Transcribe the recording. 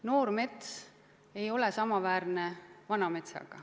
Noor mets ei ole samaväärne vana metsaga.